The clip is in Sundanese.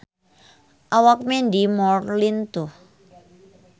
Awak Mandy Moore lintuh